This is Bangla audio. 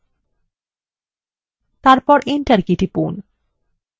তারপর enter key টিপুন